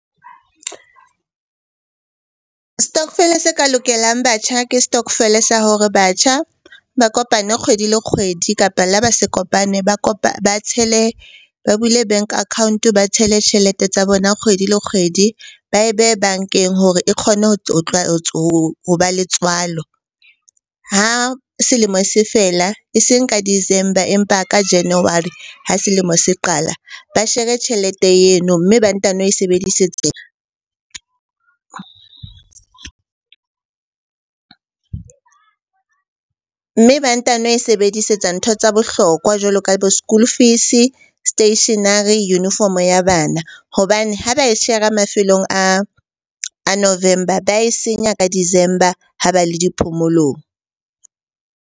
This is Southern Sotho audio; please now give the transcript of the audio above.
Stokvel-e se ka lokelang batjha ke stokvel-e sa hore batjha ba kopane kgwedi le kgwedi. Kapa la ba se kopane ba tshele, ba bule bank account-o ba tshele tjhelete tsa bona kgwedi le kgwedi. Ba e behe bankeng hore e kgone ho ba le tswalo. Ha selemo se fela eseng ka December, empa ka January ha selemo se qala. Ba share-e tjhelete eno, mme ba ntano e mme ba ntano e sebedisetsa ntho tsa bohlokwa jwalo ka bo shool fees-e, stationery, uniform-o ya bana hobane ha ba e shera mafelong a November. Ba e senya ka December ha ba le di phomolong.